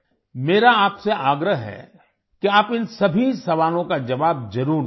मेरा आपसे आग्रह है कि आप इन सभी सवालों का जवाब ज़रूर दें